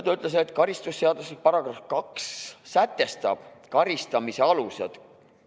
Ta ütles, et karistusseadustiku § 2 sätestab karistamise alused.